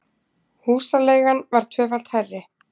Húsaleigan var tvöfalt hærri